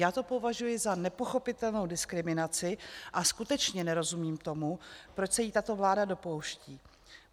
Já to považuji za nepochopitelnou diskriminaci a skutečně nerozumím tomu, proč se jí tato vláda dopouští.